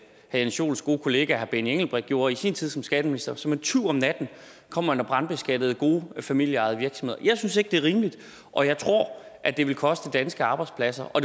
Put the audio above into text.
jens joels gode kollega herre benny engelbrecht gjorde i sin tid som skatteminister som en tyv om natten kom man og brandbeskattede gode familieejede virksomheder jeg synes ikke det er rimeligt og jeg tror at det vil koste danske arbejdspladser og